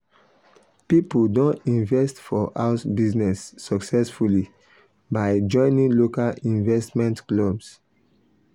people don invest for house business successfully by joining local investment clubs.